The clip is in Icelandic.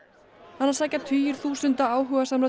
hana sækja tugir þúsunda áhugasamra